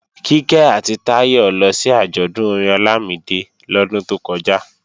Kíkẹ́ àti Táyọ lọ sí àjọ̀dún orin Ọlámídé lọ́dún tó kọjá